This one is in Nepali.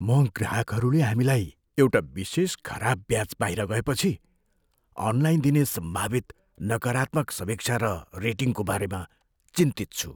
म ग्राहकहरूले हामीलाई एउटा विशेष खराब ब्याच बाहिर गए पछि अनलाइन दिने सम्भावित नकारात्मक समीक्षा र रेटिङको बारेमा चिन्तित छु।